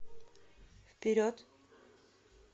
вперед